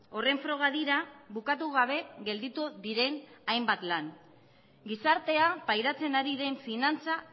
horren froga dira bukatu gabe gelditu diren hainbat lan gizartea pairatzen ari den finantza